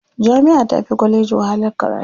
Jami'a tafi kwalleji wahalar karatu.